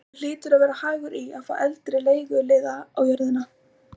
Honum hlýtur að vera hagur í að fá eldri leiguliða á jörðina.